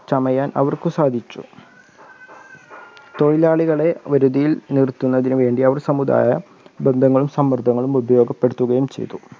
ചമയാൻ അവർക്ക് സാധിച്ചു. തൊഴിലാളികളെ ഒരുതിയിൽ നിർത്തുന്നതിന്നു വേണ്ടി അവർ സമുദായ ബന്ധങ്ങൾ സമൃദ്ധങ്ങളും ഉപയോഗപ്പെടുത്തുകയും ചെയ്തു.